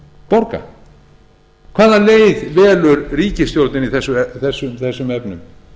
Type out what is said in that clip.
borga hvaða leið velur ríkisstjórnin í þessum efnum